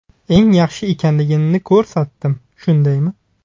Eng yaxshi ekanligimni ko‘rsatdim, shundaymi?